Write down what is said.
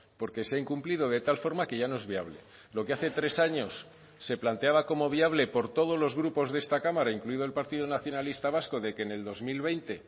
porque se ha incumplido de tal forma que ya no es viable lo que hace tres años se planteaba como viable por todos los grupos de esta cámara incluido el partido nacionalista vasco de que en el dos mil veinte